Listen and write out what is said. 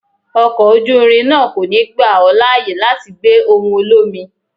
Ọkọ̀ ojú irin náà kò ní gbà ó láyè láti gbé ohùn olómi.